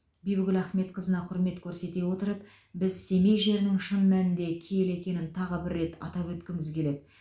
бибігүл ахметқызына құрмет көрсете отырып біз семей жерінің шын мәнінде киелі екенін тағы бір рет атап өткіміз келеді